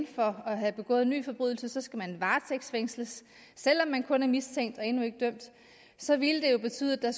for at have begået en ny forbrydelse skal man varetægtsfængsles selv om man kun er mistænkt og endnu ikke dømt så ville det jo betyde at der